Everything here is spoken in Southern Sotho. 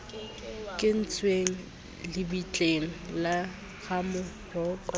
kentsweng lebitleng la ramoroko le